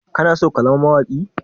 Kana so ka zama mawaƙi?